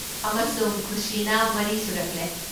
ꯑꯃꯁꯨꯡ ꯈꯨꯁꯤꯅ ꯃꯔꯤ ꯁꯨꯔꯛꯂꯦ꯫